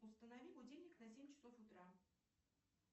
установи будильник на семь часов утра